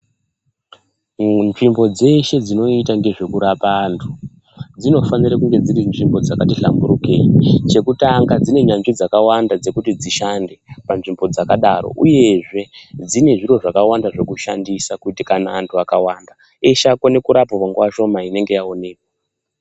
Munzvimbo dzeshe dzinoite ngezvekurapa antu dzinofanire kunge dziri nzvimbo dzakati nhlamburukei chekutanga dzine nyanzvi dzakawanda dzekuti dzishande panzvimbo dzakadaro uyezve dzine zviro zvakawanda zvekushandisa kuti kana anhu akawanda eshe akone kurapwa panguwa shoma inonga yaonekwa.